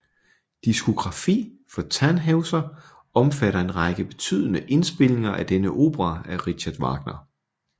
Diskografi for Tannhäuser omfatter en række betydende indspilninger af denne opera af Richard Wagner